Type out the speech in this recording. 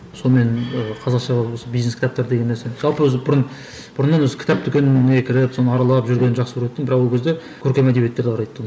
сонымен ыыы қазақша осы бизнес кітаптар деген нәрсе жалпы өзі бұрын бұрыннан өзі кітап дүкеніне кіріп соны аралап жүргенді жақсы көретінмен бірақ ол кезде көркем әдебиеттерді қарай тұғым